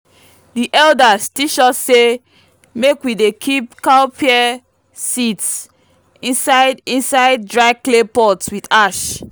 the elders teach us say make we dey keep cowpea seeds inside inside dry clay pot with ash.